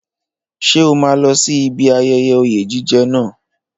Ṣé o máa lọ sí ibi ayẹyẹ oyè jíjẹ náà?